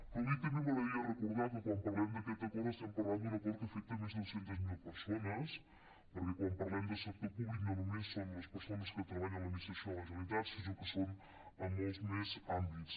però avui també m’agradaria recordar que quan parlem d’aquest acord estem parlant d’un acord que afecta més de dos centes mil persones perquè quan parlem de sector públic no només són les persones que treballen a l’administració de la generalitat sinó que són a molts més àmbits